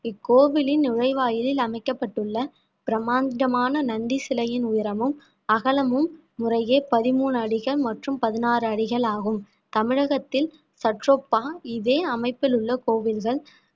இக்கோவிலின் நுழைவாயிலில் அமைக்கப்பட்டுள்ள பிரமாண்டமான நந்தி சிலையின் உயரமும் அகலமும் முறையே பதிமூணு அடிகள் மற்றும் பதினாறு அடிகள் ஆகும் தமிழகத்தில் சற்றொப்ப இதே அமைப்பில் உள்ள கோவில்கள்